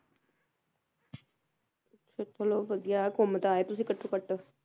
ਤੁਸੀ ਲੋਕ ਵਧੀਆ ਘੁੰਮ ਤਾ ਆਏ ਤੁਸੀ ਘੱਟੋ ਘੱਟ